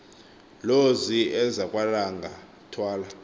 lozi ezakwalanga thwahla